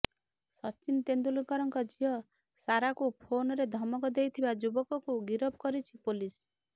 ସଚିନ ତେନ୍ଦୁଲକରଙ୍କ ଝିଅ ସାରାକୁ ଫୋନରେ ଧମକ ଦେଇଥିବା ଯୁବକକୁ ଗିରଫ କରିଛି ପୋଲିସ